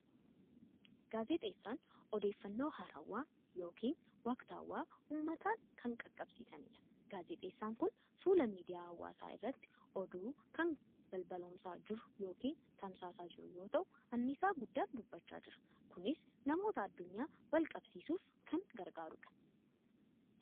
Gaazexeessaan odeeffannoo waarawaa yookiin waqtaawwaa uummataan kan qaqqabsiisanidha. Gaazexeessaan kun fuula miidiyaa hawaasaa irratti oduu kan balballoomsaa jiru yookiin tamsaasaa jiru yoo ta'u, anniisaa guddaan dubbachaa jira. Kunis namoota addunyaa wal qabsiisuuf kan gargaarudha.